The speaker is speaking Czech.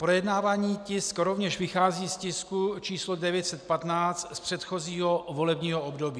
Projednávaný tisk rovněž vychází z tisku č. 915 z předchozího volebního období.